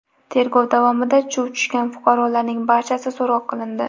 Tergov davomida chuv tushgan fuqarolarning barchasi so‘roq qilindi.